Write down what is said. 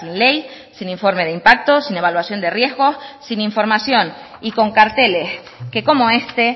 ley sin informe de impactos sin evaluación de riesgos sin información y con carteles que como este